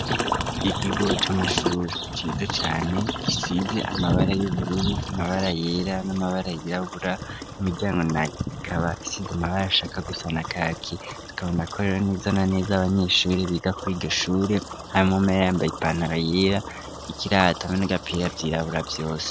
Ikigo c'amashure kiza cane gisize amabara y'ubururu, amabara yera n'amabara yirabura imiryango nayo ikaba isize amabara ashaka gusa na kaki tukabona ko rero neza na neza abanyeshure biga kuri iryo shure harimwo umwe yambaye ipantaro yera ikirata bene vyabipira vyirabura vyose.